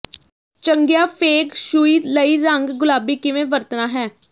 ਚੰਗੀਆਂ feng shui ਲਈ ਰੰਗ ਗੁਲਾਬੀ ਕਿਵੇਂ ਵਰਤਣਾ ਹੈ